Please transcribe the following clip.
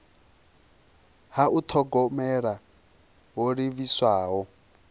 ha u thogomela ho livhiswaho